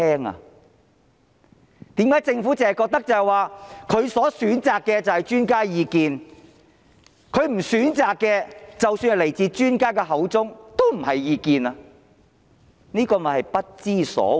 為甚麼政府只是覺得它選擇的就是專家意見，它不選擇的，即使是來自專家口中，也不是意見，這便是不知所謂。